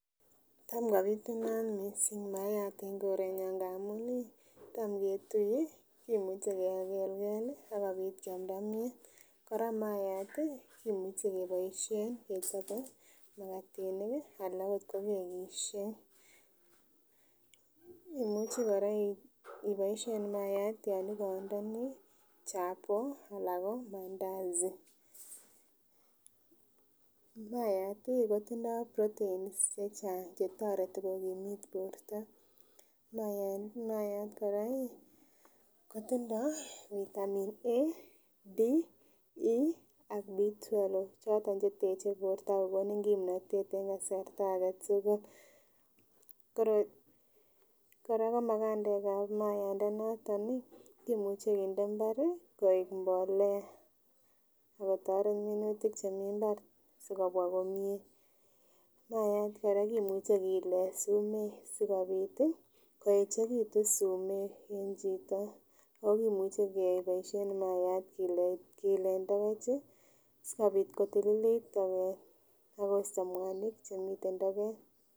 Taam kobitunat mising mayat en korenyon ng'amun taam ketue kimuche kekelkel ak kobit kiamnda mnyeet, kora mayat kimuche keboishen kechoben makatinik alaa oot ko kekishek, imuche kora iboishen mayat yoon ikondoni chapoo alaa koo mandasi, mayat kotindo proteins chechang chetoreti kokimiit borto, mayat koraa kotindo vitamin A, B, E ak B12, choton cheteche borto ak kokonin kimnotet en kasarta aketukul, koroi kora ko makandekab mauanda noton kimuche kinde mbar koik mbolea ak kotoret minutik chemii mbar sikobwa komie, mayat kora kimuche kiilen sumeek sikobit koechekitun sumek en chito, oo kimuche keboishen mayat kiilen tokoch sikobit kotililit toket ak kosto mwanik chemiten toket.